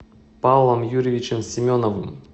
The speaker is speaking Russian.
павлом юрьевичем семеновым